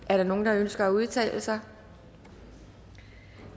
er der nogen der ønsker at udtale sig